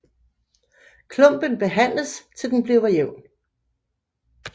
Klumpen behandles til den bliver jævn